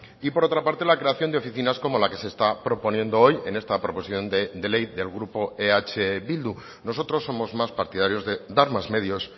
y por otra parte la creación de oficinas como la que se está proponiendo hoy en esta proposición de ley del grupo eh bildu nosotros somos más partidarios de dar más medios